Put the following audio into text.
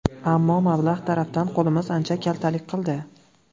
Ammo... mablag‘ tarafdan qo‘limiz ancha kaltalik qildi.